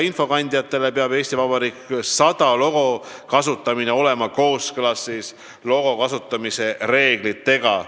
"Eesti Vabariik 100" logo kasutamine peab olema kooskõlas logo kasutamise reeglitega.